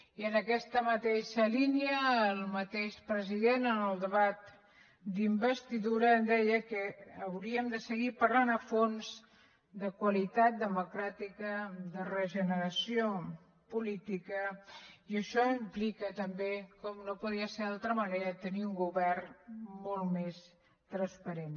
i en aquesta mateixa línia el mateix president en el debat d’investidura deia que hauríem de seguir parlant a fons de qualitat democràtica de regeneració política i això implica també com no podia ser d’altra manera tenir un govern molt més transparent